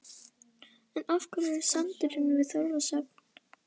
En af hverju sandurinn við Þorlákshöfn?